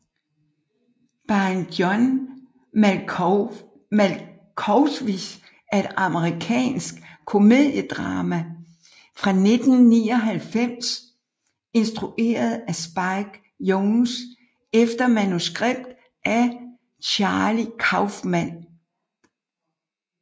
Being John Malkovich er et amerikansk komediedrama fra 1999 instrueret af Spike Jonze efter manuskript af Charlie Kaufman